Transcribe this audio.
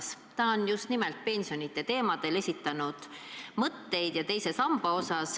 Silmas on peetud just nimelt pensione, sh teist sammast.